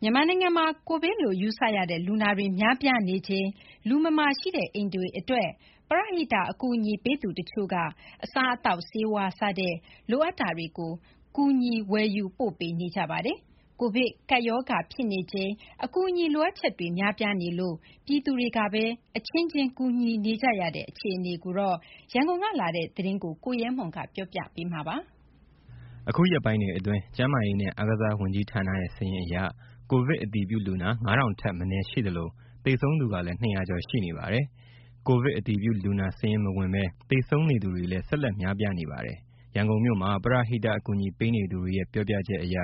မြန်မာနိုင်ငံမှာ ကိုဗစ်လို့ယူဆရတဲ့ လူနာတွေ များပြားနေချိန် လူမမာရှိတဲ့ အိမ်တွေအတွက် ပရဟိတ်အကူအညီပေးသူတချို့က အစားအသောက် ဆေးဝါးစတဲ့ လိုအပ်တာတွေကို ကူညီဝယ်ယူပိုပေး့နေကြပါတယ်။ ကိုဗစ်ကပ်ရောဂါဖြစ်နေချိန် အကူအညီလိုအပ်ချက်တွေ များပြားနေလို့ ပြည်သူတွေကပဲ အချင်းချင်း ကူညီနေကြတဲ့ အခြေအနေအကြောင်း ရန်ကုန်ကလာတဲ့သတင်းကို ကိုရဲမွန် ကတင်ပြပါမယ်။ အခုရက်ပိုင်းတွေအတွင်း ကျန်းမာရေးနဲ့ အားကစားဝန်ကြီးဌာနရဲ့စာရင်းအရ ကိုဗစ်အတည်ပြုလူနာ ၅ ထောင်ထက် မနည်းရှိသလို သေဆုံးသူကလည်း ၂၀၀ ကျော်ရှိနေပါတယ်။ ကိုဗစ်အတည်ပြုလူနာစာရင်းမဝင်ဘဲ သေဆုံးနေသူတွေလည်း ဆက်လက်များပြားနေပါတယ်။ ရန်ကုန်မြို့မှာ ပရဟိတအကူအညီပေးနေသူတွေရဲ့ ပြောပြချက်အရ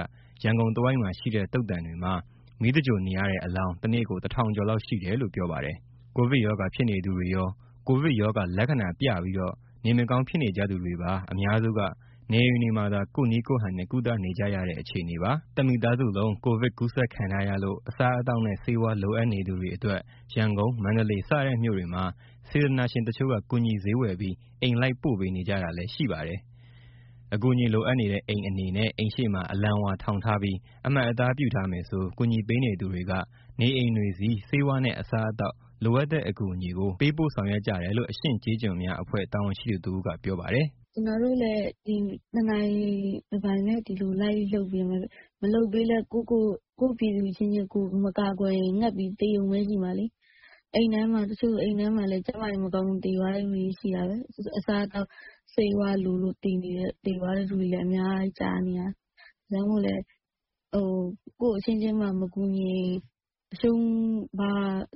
ရန်ကုန်တဝိုက်မှာရှိတဲ့ သုဿန်တွေမှာ မီးသဂြိုလ်နေရတဲ့အလောင်း တနေ့ကို ၁ ထောင်ကျော်လောက်ရှိတယ်လို့ ပြောပါတယ်။ ကိုဗစ်ရောဂါဖြစ်နေသူတွေရော ကိုဗစ်ရောဂါ လက္ခဏာပြပြီး နေမကောင်းဖြစ်နေကြသူတွေပါအများစုက နေအိမ်တွေမှာသာ ကိုယ့်နည်းကိုယ့်ဟန် ကုသနေကြရတဲ့ အခြေအနေပါ။ တမိသားစုလုံး ကိုဗစ်ကူးစက်ခံထားရလို့ အစားအသောက်နဲ့ ဆေးဝါးလိုအပ်နေသူတွေအတွက် ရန်ကုန်၊ မန္တလေးစတဲ့မြို့တွေမှာ စေတနာရှင်တချို့က ကူညီဈေးဝယ်ပြီး အိမ်လိုက်ပို့ပေးနေကြတာလည်းရှိပါတယ်။ အကူအညီလိုအပ်နေတဲ့ အိမ်အနေနဲ့ အိမ်ရှေ့မှာ အလံဝါထောင်ထားပြီး အမှတ်အသားပြုထားမယ်ဆို ကူညီပေးနေသူတွေက နေအိမ်တွေဆီ ဆေးဝါးနဲ့ အစားအသောက် လိုအပ်တဲ့အကူအညီကို ပေးဖို့ဆောင်ရွက်ကြတယ်လို့ အရှင့်ကျေးကျွန်များအဖွဲ့ တာဝန်ရှိသူတဦးက ပြောပါတယ်။ "ကျနော်တို့လည်း ဒီလိုတနိုင်တပိုင် လိုက်လုပ်ပေးနေရတာပဲ။ မလုပ်ပေးဘဲ ကိုယ့်ပြည်သူအချင်းချင်း မကာကွယ်ရင် ငတ်ပြီးသေရုံပဲရှိမှာလေ။ တချို့ဆို အိမ်ထဲမှာ ကျန်းမာရေးမကောင်းလို့ သေသွားတဲ့သူတွေရှိတယ်။ အစားအသောက်၊ ဆေးဝါးလိုလို့ သေသွားတယ်ဆိုတာတွေ အများကြီးကြားနေရတယ်။ ဒါကြောင့်မို့ ကိုယ့်အချင်းချင်းမှမကူညီရင်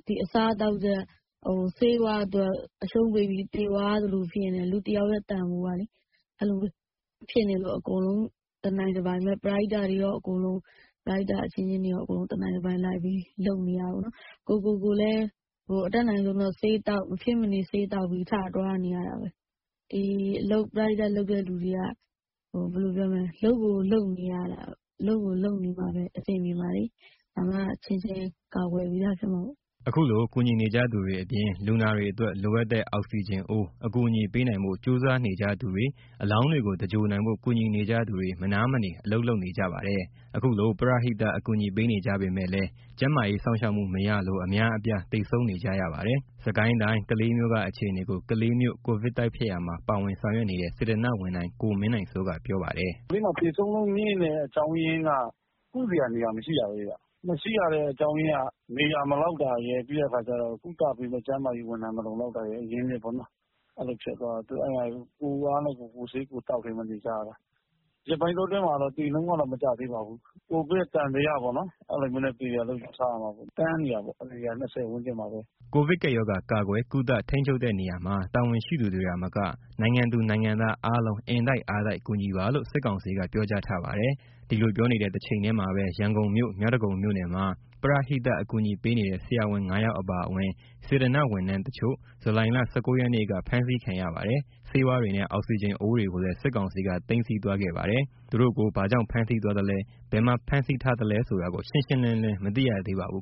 ဒီအစားအသောက်နဲ့ ဆေးဝါးအတွက် အရှုံးပေးပြီးသေသွားရသလို ဖြစ်နေတယ်၊ လူတယောက်ရဲ့ တန်ဖိုးကလေ။ အဲလိုဖြစ်နေလို့ ပရဟိတအချင်းချင်းတွေ အကုန်လုံးတနိုင်တပိုင်လိုက်ပြီး လုပ်နေရတာပေါ့နော်။ ကိုယ့်ကိုယ်ကိုယ်လည်း မဖြစ်မနေဆေးသောက်ပြီး ထသွားနေရတာပဲ။ ဒီပရဟိတလုပ်တဲ့သူတွေက လုပ်ကိုလုပ်နေမှ အဆင်ပြေမှာလေ။ ဒါမှ အချင်းချင်းကာကွယ်ပြီးသား ဖြစ်မှာပေါ့။" ခုလိုကူညီနေကြသူတွေအပြင်၊ လူနာတွေအတွက် လိုအပ်တဲ့ အောက်စီဂျင်အိုး အကူအညီပေးနိုင်ဖို့ ကြိုးစားနေကြသူတွေ၊ အလောင်းတွေကို သဂြိုလ်နိုင်ဖို့ ကူညီနေကြသူတွေ မနားမနေ အလုပ်လုပ်နေကြပါတယ်။ ခုလိုပရဟိတအကူအညီပေးနေကြပေမဲ့လည်း ကျန်းမာရေးစောင့်ရှောက်မှု မရလို့ အများအပြားသေဆုံးနေကြရပါတယ်။ စစ်ကိုင်းတိုင်း ကလေးမြို့ က အခြေအနေကို ကလေးမြို့ကိုဗစ်တိုက်ဖျက်ရာမှာ ပါဝင်ဆောင်ရွက်နေတဲ့ စေတနာ့ဝန်ထမ်း ကိုမင်းနိုင်စိုးက ပြောပါတယ်။ "ကလေးမှာ သေဆုံးနှုန်းမြင့်တဲ့ အကြောင်းရင်းက ကုစရာနေရာ မရှိတာပဲဗျ။ မရှိရတဲ့အကြောင်းရင်းက နေရာမလောက်တာရယ်၊ ကုသပေးမယ့် ကျန်းမာရေးဝန်ထမ်း အရင်းအမြစ် မလုံလောက်တာရယ်။ အဲလိုဖြစ်သွားတော့ ကိုယ့်အားနဲ့ကိုယ် ကိုယ့်ဆေးကိုယ်သောက်ပြီး နေကြတယ်။ ဒီရက်ပိုင်းအတွင်းမှာတော့ သေနှုန်းက မကျသေးပါဘူး။ ကိုဗစ်သံသယပေါ့နော် အဲလိုနဲ့သေတယ်လို့ ယူဆရပါတယ်။ တန်းနေတာပေါ့ အရေအတွက်က ၂၀ ဝန်းကျင်မှာပဲ။" ကိုဗစ်ကပ်ရောဂါ ကာကွယ်၊ ကုသ၊ ထိန်းချုပ်တဲ့နေရာမှာ တာဝန်ရှိသူတွေသာမက၊ နိုင်ငံသူနိုင်ငံသားအားလုံး အင်တိုက်အားတိုက် ကူညီပါလို့ စစ်ကောင်စီက ပြောကြားထားပါတယ်။ ဒီလိုပြောနေတဲ့ တချိန်ထဲမှာပဲ ရန်ကုန်မြို့ မြောက်ဒဂုံမြို့နယ်မှာ ပရဟိတအကူအညီပေးနေတဲ့ ဆရာဝန် ၅ ယောက်အပါအဝင် စေတနာ့ဝန်ထမ်းတချို့ ဇူလိုင်လ ၁၉ ရက်နေ့က ဖမ်းဆီးခံရပါတယ်။ ဆေးဝါးတွေနဲ့ အောက်စီဂျင်အိုးတွေကိုလည်း စစ်ကောင်စီက သိမ်းဆည်းသွားခဲ့ပါတယ်။ သူတို့ကို ဘာကြောင့် ဖမ်းဆီးသွားသလဲ ဘယ်မှာ ဖမ်းဆီးထားသလဲဆိုတာ ရှင်းရှင်း မသိရသေးပါဘူး